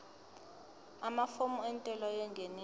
amafomu entela yengeniso